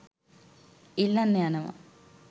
ඉල්ලන්න යනවා